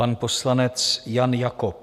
Pan poslanec Jan Jakob.